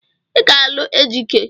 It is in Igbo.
Ị ga-alụ Ejike!